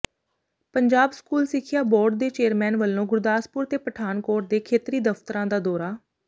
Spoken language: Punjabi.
ਪੰਜਾਬ ਸਕੂਲ ਸਿੱਖਿਆ ਬੋਰਡ ਦੇ ਚੇਅਰਮੈਨ ਵੱਲੋਂ ਗੁਰਦਾਸਪੁਰ ਤੇ ਪਠਾਨਕੋਟ ਦੇ ਖੇਤਰੀ ਦਫ਼ਤਰਾਂ ਦਾ ਦੌਰਾ